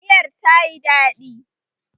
Miyar ta yi daɗi